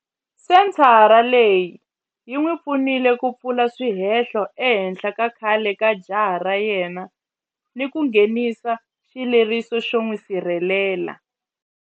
Senthara leyi yi n'wi pfunile ku pfula swihehlo ehenhla ka khale ka jaha ra yena ni ku nghenisa xileriso xo n'wi sirhelela.